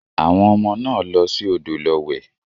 Àwọn ọmọ náà lọ sí odò lọ wẹ̀